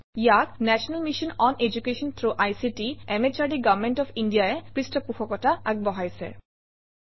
ইয়াক national mission on education through ICT MHRD government of India ই পৃষ্ঠপোষকতা আগবঢ়াইছে